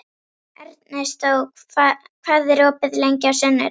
Ernestó, hvað er opið lengi á sunnudaginn?